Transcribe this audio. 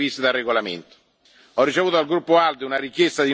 Tale nomina figurerà nel processo verbale della seduta odierna.